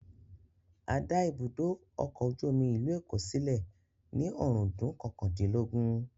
A dá ibùdó ọkọ̀ ojú omi ìlú Èkó sílẹ̀ ní ọ̀rúndún kọkàndínlógún